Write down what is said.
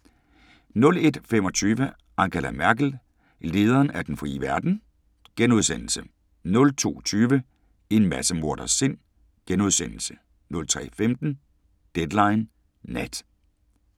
01:25: Angela Merkel – lederen af den frie verden? * 02:20: En massemorders sind * 03:15: Deadline Nat